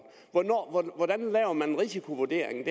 hvordan laver man en risikovurdering